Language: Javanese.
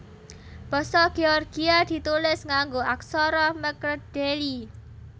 Basa Géorgia ditulis nganggo aksara mkredeli